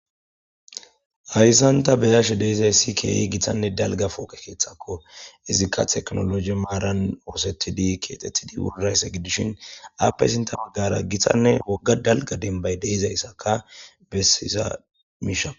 hayssanta beyashe deizay si keeyi githanne dalga pooqe keeththakko izikka teknologe maaran oosetidi keexethidi wurraysse giddishin appe sinta maggara githanne wogga dalga denbay deizayssaka bessisa miisha